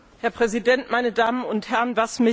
Herr Präsident, meine Damen und Herren!